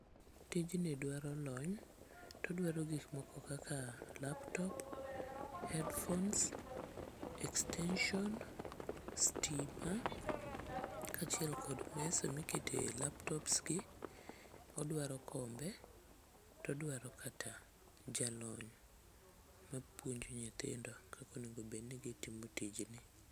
Tijni dwaro lony todwaro gik moko kaka laptop, headphones, extension, stima kaachiel kod mesa mikete laptops gi. Odwaro kombe todwaro kata jalony mapuonjo nyithindo kakonego bedni gitimo tijene.